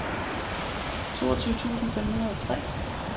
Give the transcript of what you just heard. toogtyve tusind fem hundrede og tre